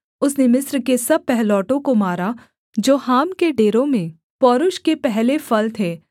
उसने मिस्र के सब पहिलौठों को मारा जो हाम के डेरों में पौरूष के पहले फल थे